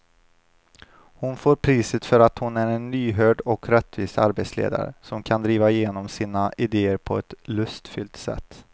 Hon får priset för att hon är en lyhörd och rättvis arbetsledare som kan driva igenom sina idéer på ett lustfyllt sätt.